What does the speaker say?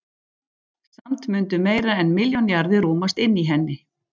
Samt mundu meira en milljón jarðir rúmast inni í henni.